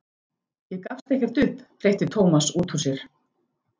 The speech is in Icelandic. Ég gafst ekkert upp hreytti Thomas út úr sér.